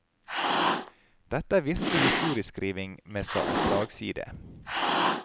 Dette er virkelig historieskriving med slagside.